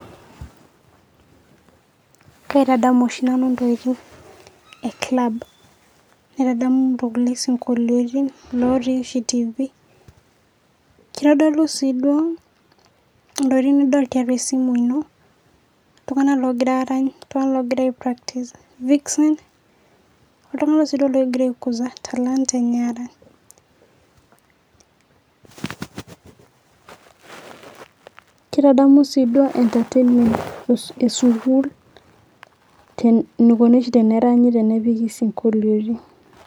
kaitadamu oshi nanu intokiting' ee club. naitadamu isinkoliotin lootii ashi tv keitodolu sii duo intokiting' nidol tiatua esimu ino, iltung'anak loogira arany, iltung'anak loogira ai practice vixen iltung'anak loogira aikuza talanta enye arany. keitadamu sii duo entertainment ee sukuul eneikoni oshi teneranyi tenepiki isinkolioitin